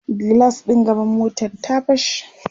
gilas ɗin gaban motar ta fashe